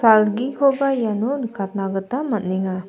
algikoba iano nikatna gita man·enga.